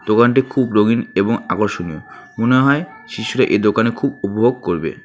দোকানটি খুব রঙিন এবং আকর্ষণীয় মনে হয় শিশুরা এ দোকানে খুব উপভোগ করবে।